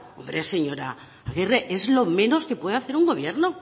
hombre señora agirre es lo menos que puede hacer un gobierno